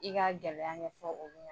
I ka gɛlɛya kɛ ɲɛfɔ o